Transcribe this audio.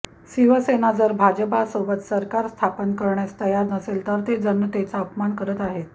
शिवसेना जर भाजपसोबत सरकार स्थापण करण्यास तयार नसेल तर ते जनतेचा अपमान करत आहेत